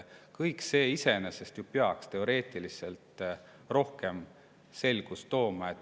Kõik see peaks teoreetiliselt rohkem selgust tooma.